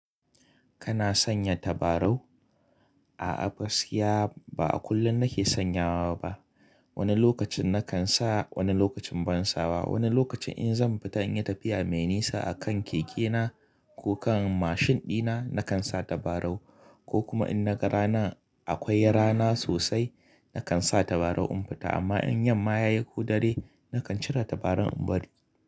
Kana sanya tabarau? A'a, gaskiya ba a kullum nake sanyawa ba. Wani lokacin nakan sa, wani lokacin ban sa ba. Wani lokacin in zan fita in yi tafiya mai nisa a kan keke na ko kan mashin dina, nakan sa tabarau. Ko kuma in naga rana akwai rana sosai, nakan sa tabarau in fita. Amma in yamma ya yi ko dare, nakan cire tabarau in bari.